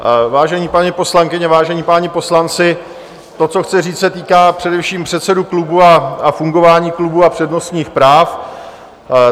Vážené paní poslankyně, vážení páni poslanci, to, co chci říct, se týká především předsedů klubů a fungování klubů a přednostních práv.